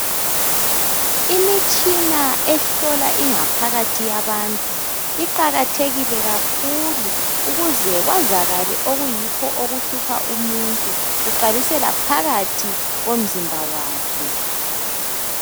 Imitshina ehlola ingaphakathi yabantu, iqakathekile kakhulu! Ukuze kwazakale ukuthi kuyini okuhlupha umuntu. Kuqalisela phakathi komzimba wakhe.